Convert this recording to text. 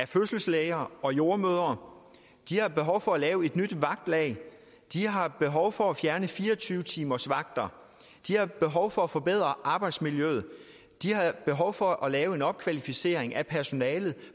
fødselslæger og jordemødre de har behov for at lave et nyt vagtlag de har behov for at fjerne fire og tyve timersvagter de har behov for at forbedre arbejdsmiljøet de har behov for at lave en opkvalificering af personalet